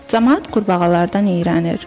Camaat qurbağalardan irənir.